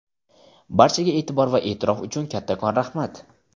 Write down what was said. Barchaga e’tibor va e’tirof uchun kattakon raxmat!.